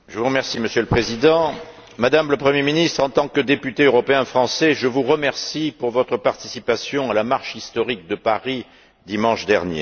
Monsieur le Président, Madame la Première ministre, en tant que député européen français je vous remercie pour votre participation à la marche historique de Paris, dimanche dernier.